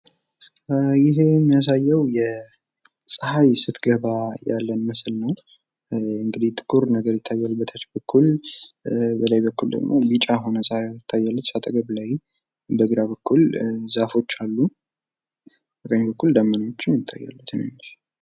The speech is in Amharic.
ይህ የሚያሳየው ጸሃይ ስትገባ የሚያሳይ ምስል ነው። በታች በኩል ጥቁር ነገር የሚታይ ሲሆን በላይ በኩል ደመናና ጸሃይ ቢጫ ሆና ትታያለች በግራ በኩል ደግሞ ዛፎች ይታያሉ።